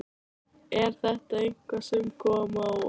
Er þetta eitthvað sem kom á óvart?